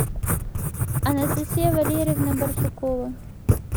анастасия валерьевна барсукова